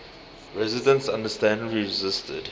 residents understandably resisted